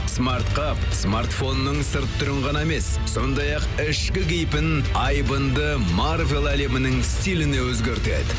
смартқа смартфонның сырт түрін ғана емес сондай ақ ішкі кейпін айбынды марвель әлемінің стилін өзгертеді